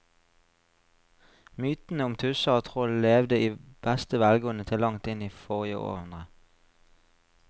Mytene om tusser og troll levde i beste velgående til langt inn i forrige århundre.